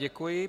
Děkuji.